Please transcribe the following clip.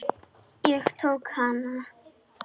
Ég tók hana.